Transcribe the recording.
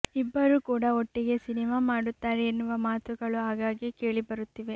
ಇಬ್ಬರು ಕೂಡ ಒಟ್ಟಿಗೆ ಸಿನಿಮಾ ಮಾಡುತ್ತಾರೆ ಎನ್ನುವ ಮಾತುಗಳು ಆಗಾಗೆ ಕೇಳಿ ಬರುತ್ತಿವೆ